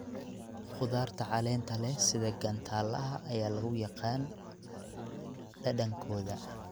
Khudaarta caleenta leh sida gantaalaha ayaa lagu yaqaan dhadhankooda.